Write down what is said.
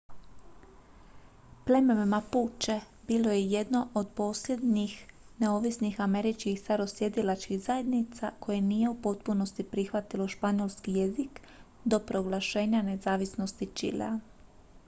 pleme mapuche bilo je i jedno od posljednjih neovisnih američkih starosjedilačkih zajednica koje nije u potpunosti prihvatilo španjolski jezik do proglašenja nezavisnosti čilea